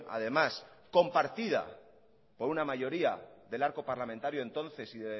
además compartida por una mayoría del arco parlamentario entonces